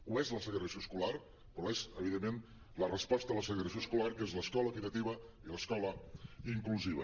ho és la segregació escolar però ho és evidentment la res·posta a la segregació escolar que és l’escola equitativa i l’escola inclusiva